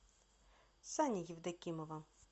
сани евдокимова